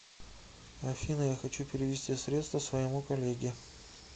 афина я хочу перевести средства своему коллеге